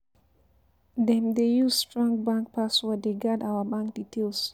Dem dey use strong password dey guard our bank details.